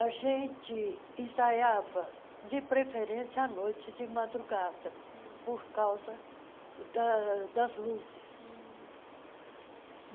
A gente ensaiava, de preferência, à noite e de madrugada hum, por causa das luzes. hum